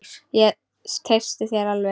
Ég treysti þér alveg!